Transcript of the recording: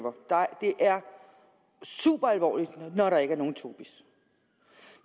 super alvorligt når der ikke er nogen tobis